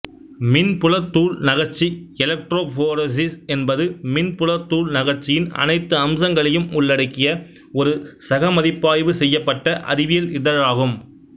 மின்புலத் தூள்நகர்ச்சி எலக்ட்ரோபோரேசிஸ் என்பது மின்புலத் தூள்நகர்ச்சியின் அனைத்து அம்சங்களையும் உள்ளடக்கிய ஒரு சகமதிப்பாய்வு செய்யப்பட்ட அறிவியல் இதழாகும்